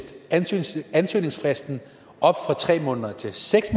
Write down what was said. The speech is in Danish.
ansøgningsfristen op fra tre måneder til seks